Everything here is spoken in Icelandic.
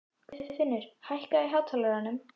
Guðfinnur, lækkaðu í hátalaranum.